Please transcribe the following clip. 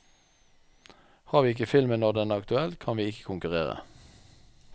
Har vi ikke filmen når den er aktuell, kan vi ikke konkurrere.